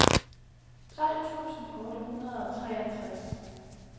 tolv tusind otte hundrede og treogtres